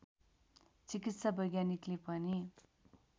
चिकित्सा वैज्ञानिकले पनि